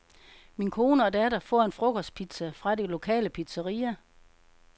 Min kone og datter får en frokostpizza fra det lokale pizzaria.